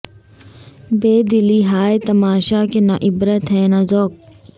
بے دلی ہائے تماشا کہ نہ عبرت ہے نہ ذوق